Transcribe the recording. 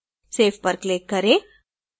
save पर click करें